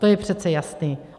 To je přece jasný.